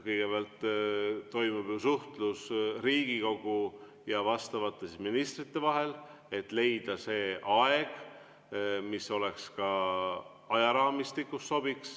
Kõigepealt toimub suhtlus Riigikogu ja vastavate ministrite vahel, et leida see aeg, mis oleks ka ajaraamistikus sobiv.